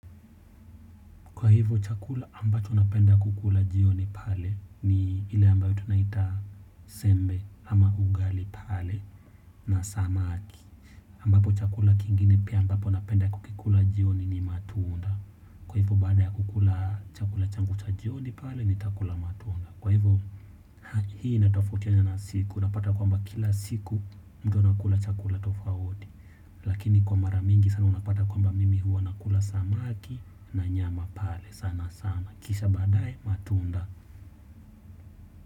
Kwa hivyo, chakula ambacho napenda kukula jioni pale ni ile ambayo tunaita sembe ama ugali pale na samaki. Ambapo chakula kingine pia ambapo napenda kukikula jioni ni matunda. Kwa hivyo, baada ya kukula chakula changu cha jioni pale nitakula matunda. Kwa hivyo, hii inatofautiana na siku unapata kwamba kila siku mtu anakula chakula tofauti. Lakini kwa mara mingi sana unapata kwamba mimi huwa nakula samaki na nyama pale sana sana. Kisa badaaye matunda.